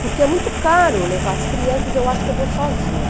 Porque é muito caro levar as crianças, eu acho que eu vou sozinha.